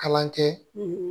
Kalan kɛ